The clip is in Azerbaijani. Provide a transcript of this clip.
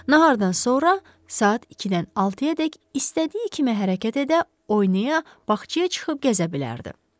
Nahardan sonra, saat 2-dən 6-adək istədiyi kimi hərəkət edə, oynaya, bağçaya çıxıb gəzə bilərdi.